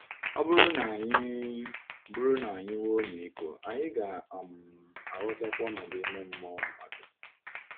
Ọ bụrụ na anyị bụrụ na anyị nwee ọmịiko, anyị ga um - aghọtakwa ọnọdụ ime mmụọ mmadụ.